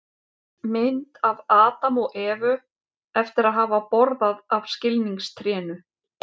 mynd af adam og evu eftir að hafa borðað af skilningstrénu